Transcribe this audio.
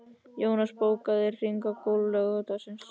Jónas, bókaðu hring í golf á laugardaginn.